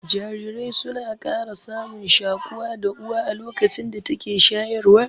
Jarirai suna ƙara samun shaƙuwa da Uwa a lokacin da take shayarwa